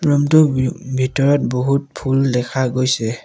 Room টোৰ ভি-ভিতৰত বহুত ফুল দেখা গৈছে।